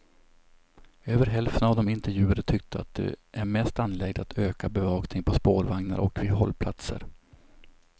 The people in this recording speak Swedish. Över hälften av de intervjuade tyckte att det är mest angeläget att öka bevakningen på spårvagnar och vid hållplatser.